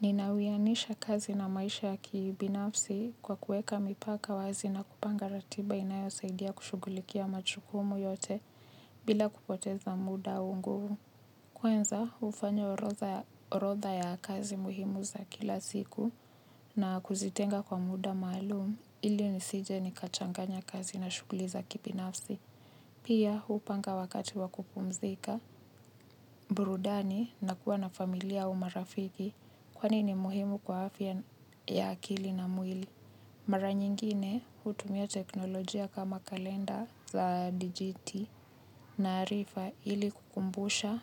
Ninawianisha kazi na maisha ya kibinafsi kwa kuweka mipaka wazi na kupanga ratiba inayosaidia kushughulikia majukumu yote bila kupoteza muda au nguvu. Kwanza hufanya orotha ya kazi muhimu za kila siku na kuzitenga kwa muda maalum ili nisije nikachanganya kazi na shughuli za kibinafsi. Pia hupanga wakati wa kupumzika, burudani na kuwa na familia au marafiki kwani ni muhimu kwa afya ya akili na mwili. Mara nyingine hutumia teknolojia kama kalenda za dijiti na arifa ili kukumbusha